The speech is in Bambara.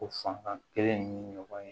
O fanba kelen ye ɲɔgɔn ye